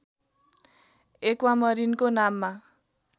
एक्वामरीनको नाममा